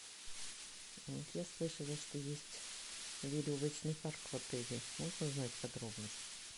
я слышала что есть веревочный парк в отеле можно узнать подробности